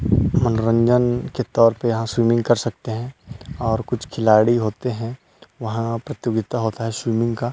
मनोरंजन के तौर पे यहाँ स्विमिंग कर सकते है और कुछ खिलाड़ी होते है वहाँ प्रतियोगिता होता है स्विमिंग का --